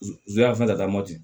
N ze ya fɛn ka taa mɔti